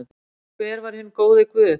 Hver var hinn góði Guð?